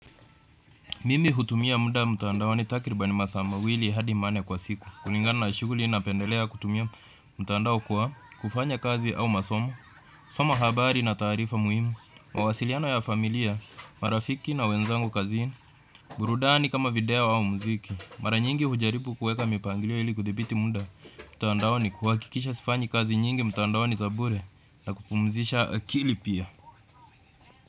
Mimi hutumia muda mtandaoni takribani masaa mawili hadi manne kwa siku. Kulingana na shughuli napendelea kutumia mtandao kwa kufanya kazi au masomo, soma habari na taarifa muhimu, mawasiliano ya familia, marafiki na wenzangu kazini, burudani kama video au muziki, mara nyingi hujaribu kuweka mipangilio ili kuthibiti muda. Mtandaoni kuhakikisha sifanyi kazi nyingi mtandaoni na kupumzisha akili pia.